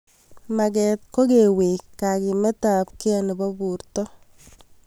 Maget ko kewek kakimet ab kei nepo porto